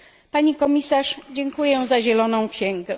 Pani Komisarz, dziękuję za Zieloną księgę.